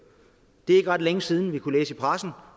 det er ikke ret længe siden vi kunne læse i pressen